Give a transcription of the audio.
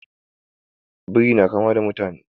Biri na kama da mutane